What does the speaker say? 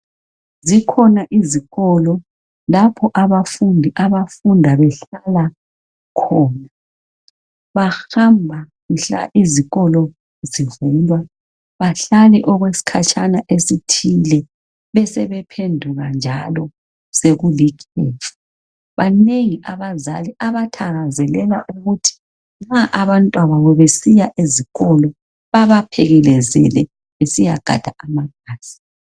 Zikhona izikolo lapho abafundi abafunda behlala khona , bahamba mhla izikolo zivulwa bahlale okwesikhatshana esithile besebephenduka njalo sekulikhefu , banengi abazali abathakazelela ukuthi nxa abantwababo besiya ezikolo babaphekelezele besiyagada amabhasi